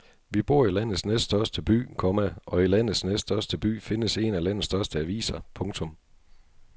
Vi bor i landets næststørste by, komma og i landets næststørste by findes en af landets største aviser. punktum